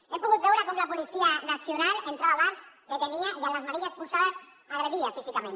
hem pogut veure com la policia nacional entrava a bars detenia i amb les manilles posades agredia físicament